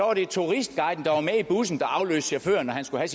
var det turistguiden der var med i bussen der afløste chaufføren når han skulle